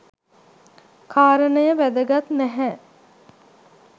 කාරනය වැදගත් නැහැ.